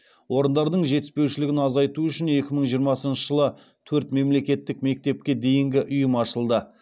орындардың жетіспеушілігін азайту үшін екі мың жиырмасыншы жылы төрт мемлекеттік мектепке дейінгі ұйым ашылды